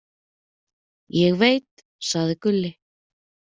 Ég veit, sagði Gulli.